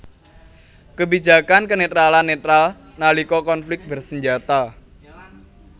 Kebijakan kenetralan netral nalika konflik bersenjata